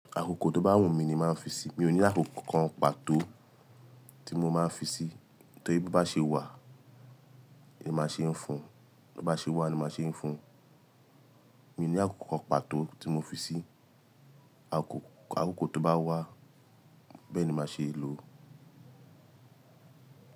Akoko to bá wù mí ni máa fi sí i. Mi ò ní àkókò kan pàtó tí mo máa fi sí i. Tori bí o bá ṣe wà, ni má ṣeé fun. Bo ba ṣe wà ni má ṣeé fun. Mi ò ní àkókò kan pàtó tí mo fi sí i. Akoko, akoko tó bá wà, bẹ́ẹ̀ ni màá ṣe é lò.